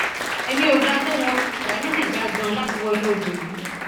èmi ò ga tó wọn aya mi sì já ganan láti wọ inú odò yìí